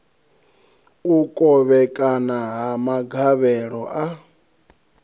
u kovhekana ha magavhelo a